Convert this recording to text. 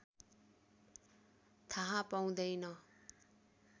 थाहा पाउँदैन